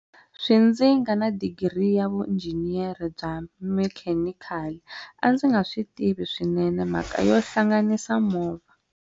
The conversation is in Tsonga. Swi ndzi nga na digiri ya vuinjiniyara bya mekhenikhali, a ndzi nga swi tivi swinene mhaka yo hlanganisa movha.